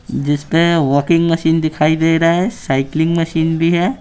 जिस पे walking machine दिखाई दे रहा है साइकलिंग मशीन भी है।